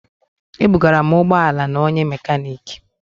Ebugara m ụgbọ ala na nke onye mekaniki